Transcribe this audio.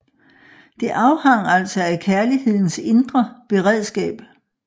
Det afhang altså af kærlighedens indre beredskab